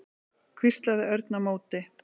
hvíslaði Örn á móti.